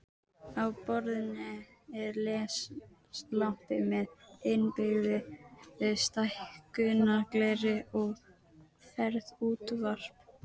Á borðinu er leslampi með innbyggðu stækkunargleri og ferðaútvarp.